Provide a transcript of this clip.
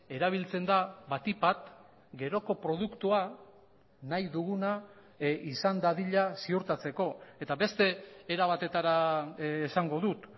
erabiltzen da batik bat geroko produktua nahi duguna izan dadila ziurtatzeko eta beste era batetara esango dut